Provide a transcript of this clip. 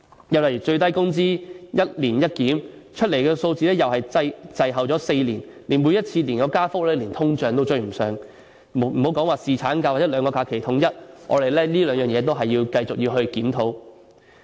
有關最低工資，說是"一年一檢"，但出來的數字卻又滯後4年，而每次的加幅連通脹也追不上，更莫說侍產假或統一兩種假期制度，我們在這兩方面仍須繼續檢討。